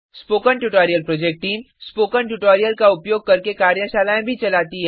spoken tutorial project team spoken tutorial का उपयोग करके कार्यशालाएँ भी चलाती है